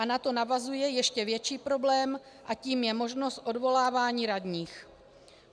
A na to navazuje ještě větší problém a tím je možnost odvolávání radních.